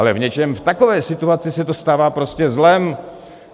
Ale v něčem v takové situaci se to stává prostě zlem.